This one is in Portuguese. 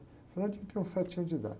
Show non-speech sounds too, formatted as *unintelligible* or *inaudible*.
O *unintelligible* tinha uns sete anos de idade.